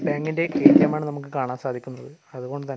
ബാങ്കിന്റെ എ_ടി_എം ആണ് നമുക്ക് കാണാൻ സാധിക്കുന്നത് അതുകൊണ്ടുതന്നെ--